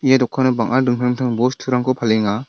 ia dokano bang·a dingtang dingtang bosturangko palenga.